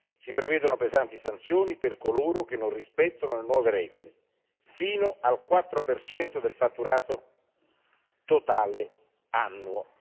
Si prevedono pesanti sanzioni per coloro che non rispettano le nuove regole, fino al 4 del fatturato totale annuo.